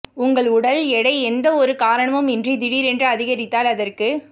உங்கள் உடல் எடை எந்த ஒரு காரணமும் இன்றி திடீரென்று அதிகரித்தால் அதற்கு